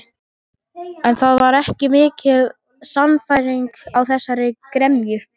En það var ekki mikil sannfæring í þessari gremju.